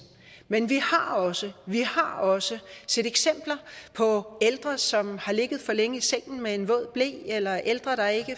men vi har også også set eksempler på ældre som har ligget for længe i sengen med en våd ble eller ældre der ikke